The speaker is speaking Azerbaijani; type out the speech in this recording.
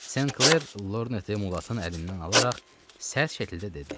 Senkler Lorneti Mulatın əlindən alaraq sərt şəkildə dedi: